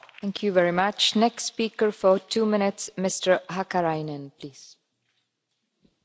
Arvoisa puhemies, tämäkin asia on esillä vihreiden aloitteesta.